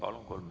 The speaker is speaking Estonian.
Palun!